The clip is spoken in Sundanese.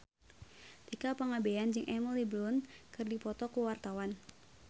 Tika Pangabean jeung Emily Blunt keur dipoto ku wartawan